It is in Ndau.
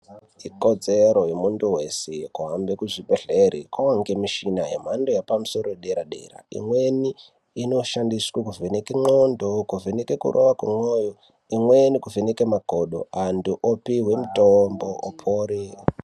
Ikodzero yemuntu weshe kuhambe kuzvibhedhlera kwava nemichina yemhando yepamusoro yepadera dera imweni iyi inoshandiswe kuvheneka kwe ndxondo kuvheneka kuriva kwemoyo imweni kuvhenaka makodo antu opiwa mutombo kuti apore.